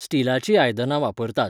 स्टिलाचीं आयदनां वापरतात.